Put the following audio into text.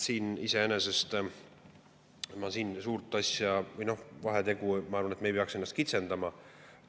Siin iseenesest ma suurt vahetegemist, ma arvan, et me ei peaks ennast kitsendama.